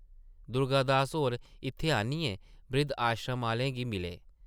दुर्गा दास होर इत्थै आनियै ब्रिद्ध-आश्रम आह्लें गी मिले ।